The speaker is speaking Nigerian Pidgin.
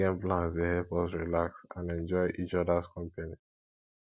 weekend plans dey help us relax and enjoy each others company